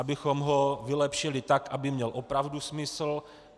Abychom ho vylepšili tak, aby měl opravdu smysl.